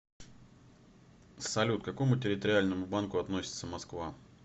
салют к какому территориальному банку относится москва